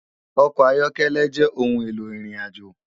Òkò áyòkèlè jè óoùn éló irinàjó